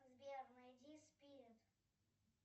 сбер найди спирит